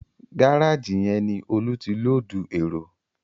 Gárájì yẹn ni Olú ti lóòdù èrò